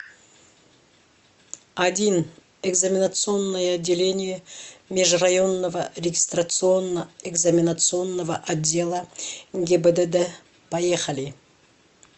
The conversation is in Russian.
один экзаменационное отделение межрайонного регистрационно экзаменационного отдела гибдд поехали